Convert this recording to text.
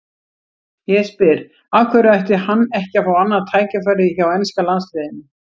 Ég spyr: Af hverju ætti hann ekki að fá annað tækifæri hjá enska landsliðinu?